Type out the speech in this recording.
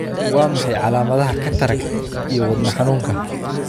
Waa maxay calaamadaha iyo calaamadaha cataract iyo wadna xanuunka?